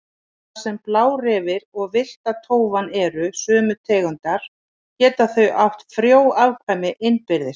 Þar sem blárefir og villta tófan eru sömu tegundar geta þau átt frjó afkvæmi innbyrðis.